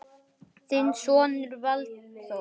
Þinn sonur Valþór.